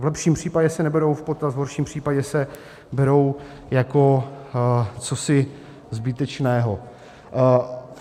V lepším případě se neberou v potaz, v horším případě se berou jako cosi zbytečného.